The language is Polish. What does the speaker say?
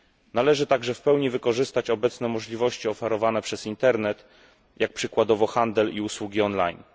Należy także w pełni wykorzystać obecne możliwości oferowane przez internet, jak przykładowo handel i usługi online.